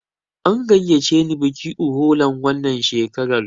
An gayyace ni bikin Uholan wannan shekarar.